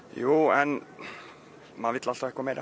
jú en maður vill alltaf eitthvað meir